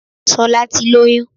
Solá ti lóyún